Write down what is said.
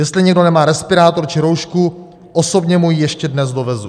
Jestli někdo nemá respirátor či roušku, osobně mu ji ještě dnes dovezu.